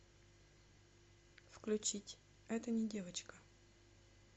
включить это не девочка